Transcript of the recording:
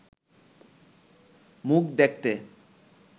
মুখ দেখতে